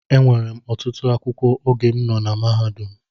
Enwere m ọtụtụ akwụkwọ oge m nọ na mahadum